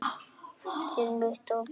Þinn Viktor Bjarki.